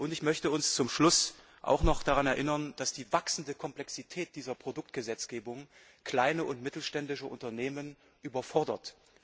Ich möchte zum Schluss auch noch daran erinnern, dass die wachsende Komplexität dieser Produktgesetzgebung kleine und mittelständische Unternehmen überfordert.